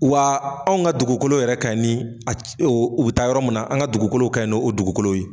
Wa anw ka dugukolo yɛrɛ kaɲi ni a ca u be taa yɔrɔ min na an ka dugukolow kaɲi ni o dugukolow ye